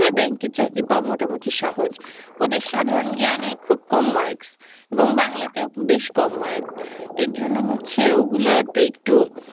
ব্যাংকে চাকরি পাওয়া মোটামুটি সহজ ওদের সাধারণ জ্ঞানে খুব কম marks এবং বাংলাতেও বেশ কম mark এজন্য হচ্ছে ওগুলা তে একটু